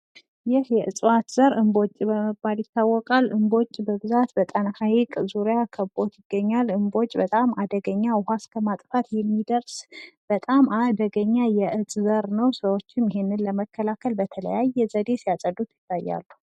እጽዋት ለምግብነት፣ ለመድሃኒትነት፣ ለእንጨትና ለሌሎች በርካታ የፍጆታ እቃዎች ምንጭ ሆነው ያገለግላሉ።